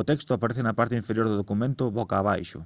o texto aparece na parte inferior do documento boca abaixo